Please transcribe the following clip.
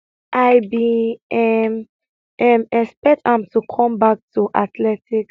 i bin um um expect am to come back to athletics